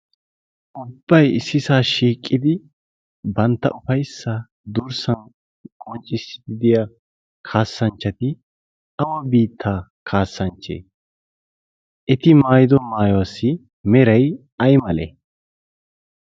Ubbay issisa shiiqidi bantta ufayssa durssan qonccissidi de'iyaa kaasanchchati awa biittaa kaasanchchattee? Eti maayido maayuwassi meray aymale?